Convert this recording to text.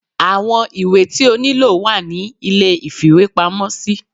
awọn ìwé tí o niló wa ní ilé ìfíwepámọ sí